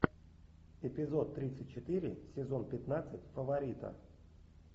эпизод тридцать четыре сезон пятнадцать фаворита